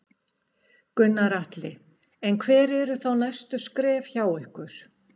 Gunnar Atli: En hver eru þá næstu skref hjá ykkur?